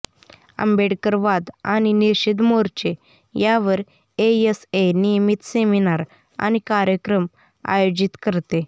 आंबेडकरवाद आणि निषेध मोर्चे यावर एएसए नियमित सेमिनार आणि कार्यक्रम आयोजित करते